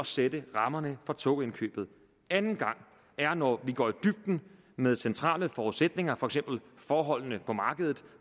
sætter rammerne for togindkøbet anden gang er når vi går i dybden med centrale forudsætninger for eksempel forholdene på markedet